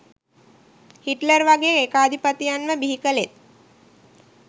Hitler වගේ ඒකාධිපතියන්ව බිහි කලෙත්